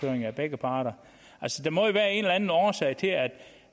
høring af begge parter der må jo være en eller anden årsag til at